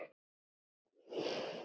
Ballett hefur verið mitt líf